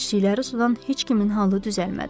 İçdikləri sudan heç kimin halı düzəlmədi.